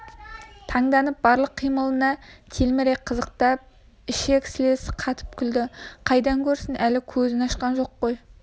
таңданып барлық қимылына телміре қызықтап ішек-сілесі қатып күлді қайдан көрсін әлі көзін ашқан жоқ қой